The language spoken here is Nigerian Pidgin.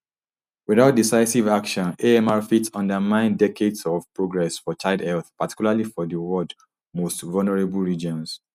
witout decisive action amr fit undermine decades of progress for child health particularly for di world most vulnerable regions